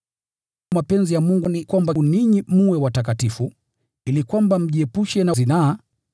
Mapenzi ya Mungu ni kwamba ninyi mtakaswe, ili kwamba mjiepushe na zinaa,